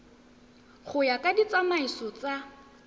go ya ka ditsamaiso tsa